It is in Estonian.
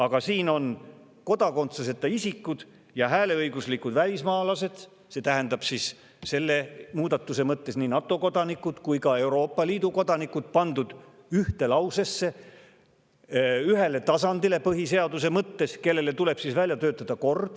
Aga siin on ühes lauses pandud kodakondsuseta isikud ja hääleõiguslikud välismaalased – nii NATO kui ka Euroopa Liidu kodanikud – põhiseaduse mõttes ühele tasandile ja neile tuleb välja töötada kord.